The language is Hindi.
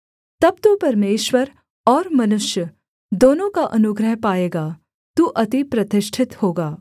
तब तू परमेश्वर और मनुष्य दोनों का अनुग्रह पाएगा तू अति प्रतिष्ठित होगा